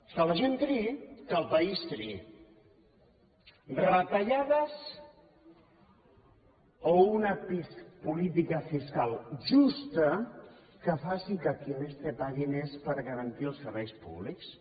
que la gent triï que el país triï retallades o una política fiscal justa que faci que qui té més pagui més per a garantir els serveis públics